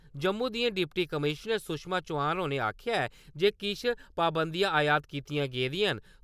जम्मू दियां deputy commissioner Sushma Chauhan होरें आक्खेआ ऐ जे किश पाबंदिआ आयत कीतियां गेदियां न ।